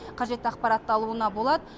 қажетті ақпарат алуына болады